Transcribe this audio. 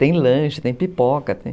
Tem lanche, tem pipoca, tem